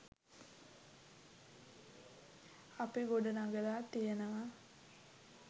අපි ගොඩ නගලා තියෙනවා.